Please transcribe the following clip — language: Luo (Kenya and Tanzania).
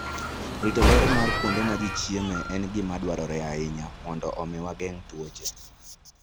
Rito ler mar kuonde ma ji chiemoe en gima dwarore ahinya mondo omi wageng' tuoche.